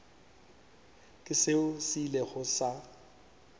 ke seo se ilego sa